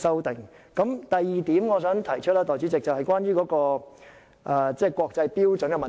代理主席，我想提出的第二點，是關於國際標準的問題。